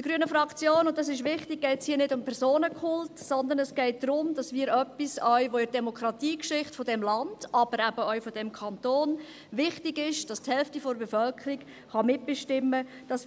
Der grünen Fraktion – dies ist wichtig – geht es hier nicht um Personenkult, sondern darum, dass wir uns an etwas erinnern, das auch in der Demokratiegeschichte dieses Landes, aber auch dieses Kantons, wichtig ist, nämlich, dass die Hälfte der Bevölkerung mitbestimmen kann,